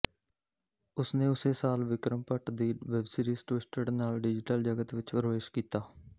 ਉਸ ਨੇ ਉਸੇ ਸਾਲ ਵਿਕਰਮ ਭੱਟ ਦੀ ਵੈਬਸੀਰੀਜ਼ ਟਵਿਸਟਡ ਨਾਲ ਡਿਜੀਟਲ ਜਗਤ ਵਿੱਚ ਪ੍ਰਵੇਸ਼ ਕੀਤਾ